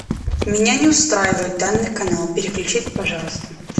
меня не устраивает данный канал переключите пожалуйста